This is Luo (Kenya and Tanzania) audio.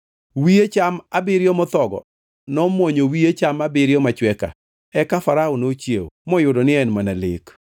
Wiye cham abiriyo mothogo nomwonyo wiye cham abiriyo machwe ka. Eka Farao nochiewo, moyudo ni en mana lek.